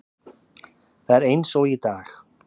Það er eins og í dag.